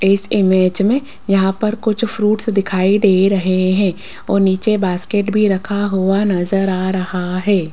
इस इमेज में यहां पर कुछ फ्रूट्स दिखाई दे रहे हैं और नीचे बास्केट भी रखा हुआ नजर आ रहा है।